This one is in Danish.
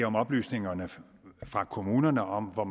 om oplysninger fra kommunerne om hvor